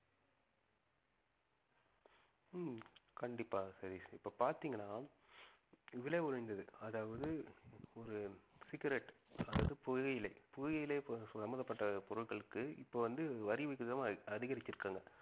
ஹம் கண்டிப்பா சதீஷ் இப்ப பார்த்தீங்கன்னா விலை உயர்ந்தது அதாவது ஒரு cigarette அதாவது புகையிலை புகையிலை சம்மந்தப்பட்ட பொருட்களுக்கு இப்போ வந்து வரி விகிதம் அ~ அதிகரிச்சிருக்காங்க